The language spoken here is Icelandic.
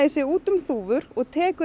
sé út um þúfur og tekur